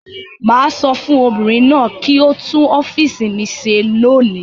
Mà á sọ fún obìnrin náà kí ó tún ọ́fíísì mi ṣe lónìí.